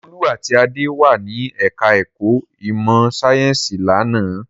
Olú àti Adé wà ní ẹ̀ka-ẹ̀kọ́ ìmọ̀-sáyẹ́ńsì lánàá.